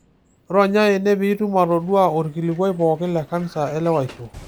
Ronya ene pee itum atodua olkilikua pookin le kansa elewaisho.